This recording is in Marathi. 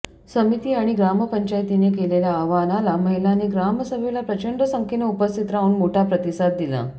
समिती आणि ग्रामपंचायतीने केलेल्या आवाहनाला महिलांनी ग्रामसभेला प्रचंड संख्येने उपस्थित राहून मोठा प्रतिसाद दिला